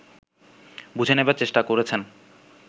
বুঝে নেবার চেষ্টা করেছেন